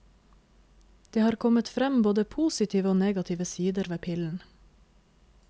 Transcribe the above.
Det har kommet frem både positive og negative sider ved pillen.